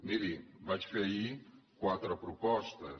miri vaig fer ahir quatre propostes